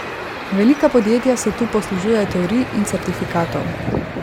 Velika podjetja se tu poslužujejo teorij in certifikatov.